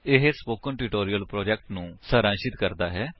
ਇਹ spoken tutorial project ਨੂੰ ਸਾਰਾਂਸ਼ਿਤ ਕਰਦਾ ਹੈ